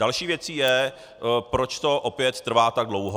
Další věcí je, proč to opět trvá tak dlouho.